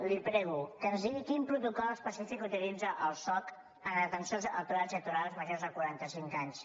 li prego que ens digui quin protocol específic utilitza el soc en l’atenció als aturats i aturades majors de quaranta cinc anys